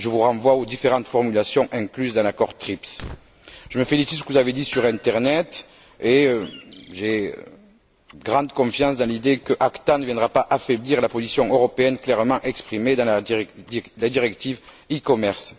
Je vous renvoie aux différentes formulations incluses dans l'accord TRIPS. Je me félicite de ce que vous avez dit sur internet et j'ai grande confiance dans l'idée que l'ACTA ne viendra pas affaiblir la position européenne clairement exprimée dans la directive e commerce.